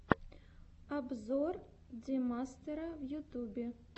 обзор демастера в ютубе